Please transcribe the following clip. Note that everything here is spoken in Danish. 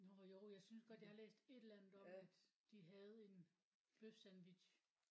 Nåh jo jeg synes godt jeg har læst et eller andet om at de havde en bøfsandwich